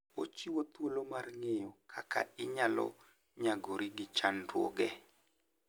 Ochiwo thuolo mar ng'eyo kaka inyalo nyagori gi chandruoge.